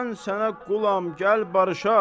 Mən sənə qulam, gəl barışaq!